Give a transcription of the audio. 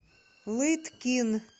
лыткин